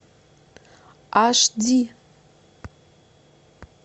аш ди